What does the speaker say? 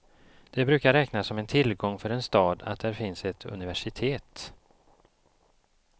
Det brukar räknas som en tillgång för en stad att där finns ett universitet.